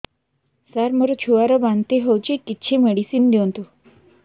ସାର ମୋର ଛୁଆ ର ବାନ୍ତି ହଉଚି କିଛି ମେଡିସିନ ଦିଅନ୍ତୁ